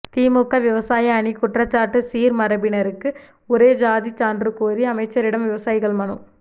திமுக விவசாய அணி குற்றச்சாட்டு சீர்மரபினருக்கு ஒரே சாதி சான்று கோரி அமைச்சரிடம் விவசாயிகள் மனு